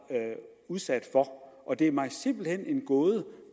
udsat for og det er mig simpelt hen en gåde